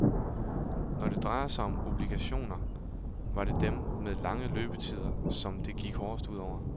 Når det drejer sig om obligationer, var det dem med lange løbetider, som det gik hårdest ud over.